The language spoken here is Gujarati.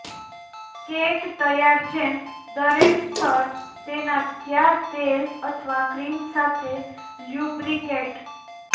કેક તૈયાર જેમ દરેક સ્તર તેના ક્યાં તેલ અથવા ક્રીમ સાથે લ્યુબ્રિકેટ